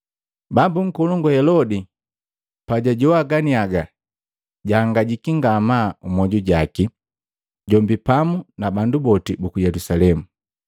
Bambu nkolongu Helodi pajajoa ganiaga, jahangajiki ngamaa mmoju jaki, jombi pamu na bandu boti buku Yelusalemu.